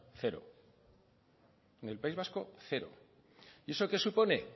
cero en el país vasco cero y eso qué supone